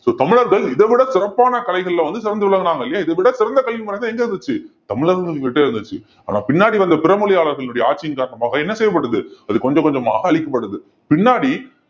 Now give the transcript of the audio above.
so தமிழர்கள் இதைவிட சிறப்பான கலைகள்ல வந்து சிறந்து விளங்குனாங்க இல்லையா இதை விட சிறந்த கல்வி முறைதான் எங்க இருந்துச்சு தமிழர்கள்கிட்ட இருந்துச்சு ஆனா பின்னாடி வந்த பிற மொழியாளர்களுடைய ஆட்சியின் காரணமாக என்ன செய்யப்பட்டது அது கொஞ்சம் கொஞ்சமாக அழிக்கப்படுது பின்னாடி